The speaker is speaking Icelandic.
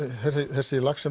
þessi lax sem